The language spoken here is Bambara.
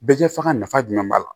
Bɛɛ kɛbaga nafa jumɛn b'a la